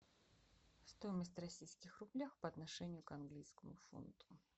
стоимость в российских рублях по отношению к английскому фунту